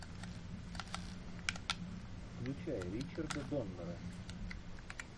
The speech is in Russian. включай ричарда доннера